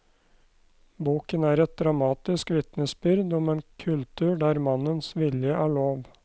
Boken er et dramatisk vitnesbyrd om en kultur der mannens vilje er lov.